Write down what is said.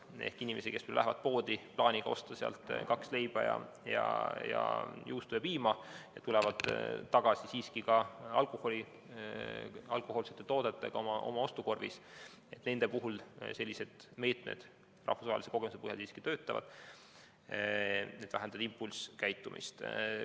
Nende puhul, kes lähevad poodi plaaniga osta leiba, juustu ja piima, aga tulevad tagasi siiski ka alkohoolsete toodetega oma ostukorvis, sellised meetmed rahvusvahelise kogemuse põhjal töötavad, need vähendavad impulsskäitumist.